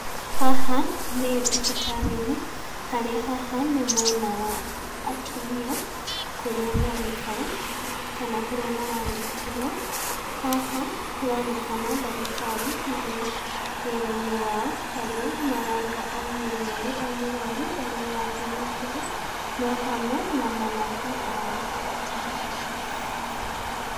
Haha, nĩ thibitarĩ-inĩ harĩa haha nĩ mwena wa atumia kũrĩa maraikara, kana kũria mararigitĩrwo. Haha maronekana ndagĩtarĩ marĩ wĩra-inĩ wao, harĩa mararora o mũrũaru o mũrũaru ũrĩa arathiĩ na mbere me hamwe na manathi ao.